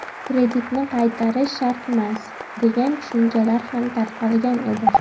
Kreditni qaytarish shartmas, degan tushunchalar ham tarqalgan edi.